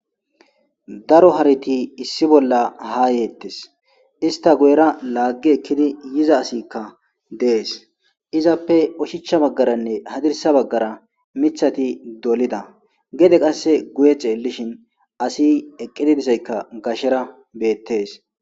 Daro hareti issi bolla ha yetes, ista Guyera laagi ekid ha yiza asiyka des,izappe oshicha bagaranne hadirsa bagara Mitha dolida , gede qase guye xelishn asiy eqidi dozaysaka betes